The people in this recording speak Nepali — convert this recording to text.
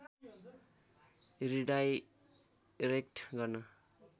रिडाइरेक्ट गर्न